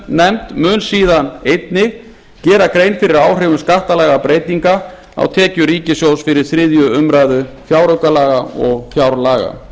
skattanefnd mun síðan einnig gera grein fyrir áhrifum skattalagabreytinga á tekjur ríkissjóðs fyrir þriðju umræðu fjáraukalaga og fjárlaga